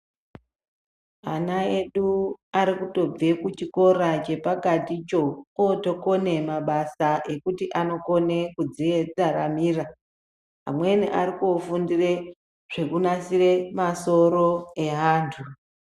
Ana edu ari kutobve kuchikora chepakaticho ,ootokone mabasa ekuti anotokone kudziraramira. Amweni ari koofundire zvekunasire masoro eantu.